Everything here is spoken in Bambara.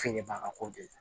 Fini ba ka ko gɛlɛya